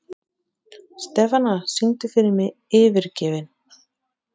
Stefana, syngdu fyrir mig „Yfirgefinn“.